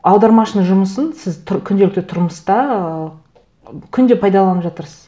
аудармашының жұмысын сіз күнделікті тұрмыста ы күнде пайдаланып жатырсыз